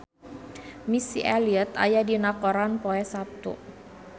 Missy Elliott aya dina koran poe Saptu